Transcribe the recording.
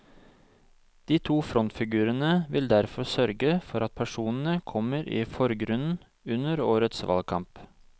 De to frontfigurene vil derfor sørge for at personene kommer i forgrunnen under årets valgkamp.